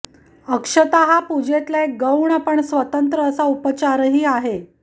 अक्षता हा पूजेतला एक गौण पण स्वतंत्र असा उपचारही आहे